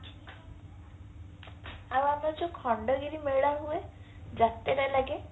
ଆଉ ଆମର ଯୋଉ ଖଣ୍ଡଗିରି ମେଳା ହୁଏ ଯାତ୍ରା ଲାଗେ